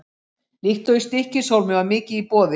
Líkt og í Stykkishólmi var mikið í boði.